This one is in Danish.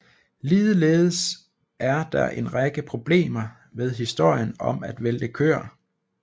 Ligeledes er der en række problemer ved historien om at vælte køer